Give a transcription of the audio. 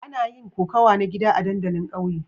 Ana yin kokawa na gida a dandalin ƙauyen.